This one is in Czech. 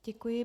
Děkuji.